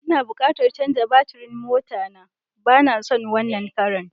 N'na bukatan chanzar batirin mota na, ba na son wanan Karan.